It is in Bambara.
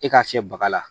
E k'a fiyɛ baga la